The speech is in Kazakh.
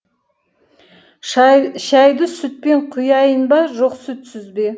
шайды сүтпен құяйын ба жоқ сүтсіз бе